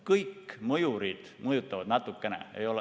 Kõik need mõjurid mõjutavad natukene.